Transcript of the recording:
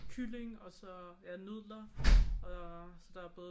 Kylling og så ja nudler og så der er både